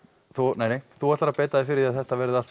nei nei þú ætlar að beita þér fyrir að þetta verði allt